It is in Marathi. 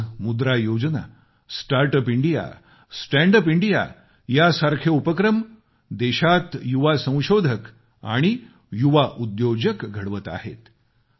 आज Mudra Yojana start up India stand up India यासारखे उपक्रम देशात युवा संशोधक आणि युवा उद्योजक घडवत आहेत